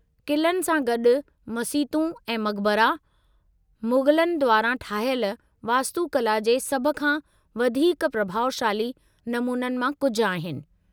क़िलनि सां गॾु मसीतूं ऐं मक़बरा, मुग़लनि द्वारां ठाहियल वास्तुकला जे सभु खां वधीक प्रभाउशाली नमूननि मां कुझु आहिनि।